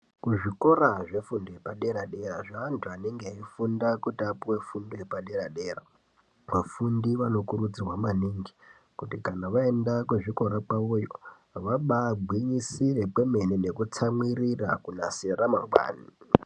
Kuzvikora zvefundo yepadera dera zveantu anenge eifunda kuti apuwe fundo yepadera dera. Vafundi vanokurudzirwa maningi kuti kana vaenda kuzvikora zvawo iyo vabagwinyisire kwemene nekutsamwirira kunasira ramangwani.